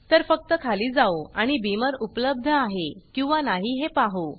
तर फक्त खाली जाऊ आणि Beamerबीमर उपलब्ध आहे किंवा नाही हे पाहू